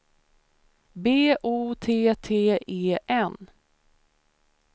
B O T T E N